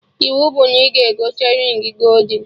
Iwu bụ na ị ga-egote rịng goldin!